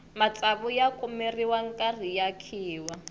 matsavu ya kumeriwa nkarhi ya khiwa